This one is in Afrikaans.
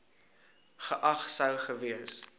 geag sou gewees